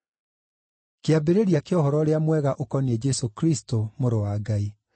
Kĩambĩrĩria kĩa Ũhoro-ũrĩa-Mwega ũkoniĩ Jesũ Kristũ Mũrũ wa Ngai.